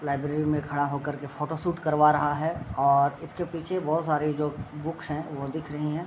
Library में खड़ा हो कर के फोटोशूट करवा रहा है और इसके पीछे बहुत सारी जो बुक्स है वो दिख रही हैं।